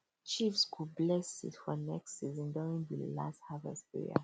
chiefs go bless seed for next season during the last harvest prayer